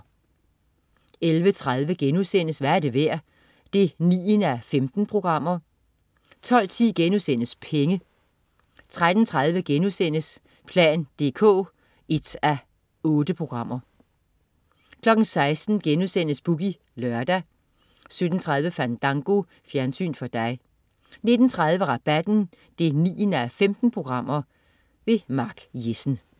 11.30 Hvad er det værd? 9:15* 12.10 Penge* 13.30 plan dk 1:8* 16.00 Boogie Lørdag* 17.30 Fandango. Fjernsyn for dig 19.30 Rabatten 9:15. Mark Jessen